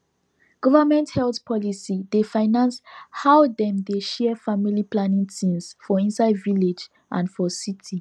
government health policy dey finance how dem dey share family planning thingsfor inside village and for city